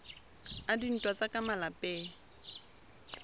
a dintwa tsa ka malapeng